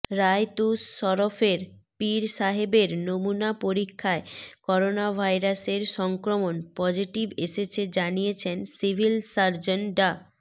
বায়তুশ শরফের পীর সাহেবের নমুনা পরীক্ষায় করোনাভাইরাসের সংক্রমণ পজিটিভ এসেছে জানিয়ে সিভিল সার্জন ডা